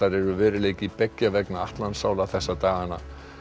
eru veruleiki beggja vegna Atlantsála þessa dagana